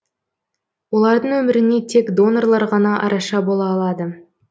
олардың өміріне тек донорлар ғана араша бола алады